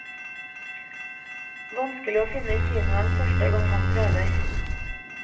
Vanskelig å finne kinoen første gang man prøver.